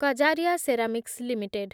Kajaria ceramics limited